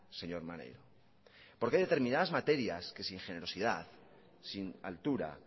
señor maneiro porque hay determinadas materias que sin generosidad sin altura